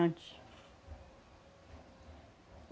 Antes.